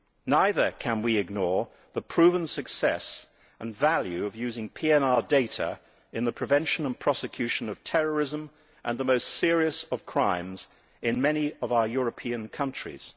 Neither can we ignore the proven success and value of using PNR data in the prevention and prosecution of terrorism and of the most serious of crimes in many of our European countries.